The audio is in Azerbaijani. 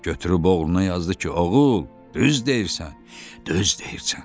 Götürüb oğluna yazdı ki, oğul, düz deyirsən, düz deyirsən.